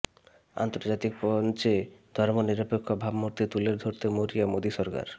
আন্তর্জাতিক মঞ্চে ধর্মনিরপেক্ষ ভাবমূর্তি তুলে ধরতে মরিয়া মোদী সরকার